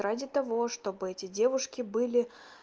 ради того чтобы эти девушки были